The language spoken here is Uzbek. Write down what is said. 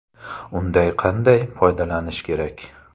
Undan qanday foydalanish kerak?.